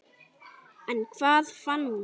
En hvað fann hún?